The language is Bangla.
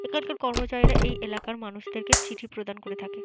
এখানকার কর্মচারীরা এই এলাকার মানুষকে চিঠি প্রদান করে থাকে।